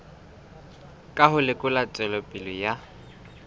ka ho lekola tswelopele ya